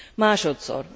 Másodszor.